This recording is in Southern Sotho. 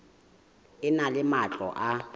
e na le matlo a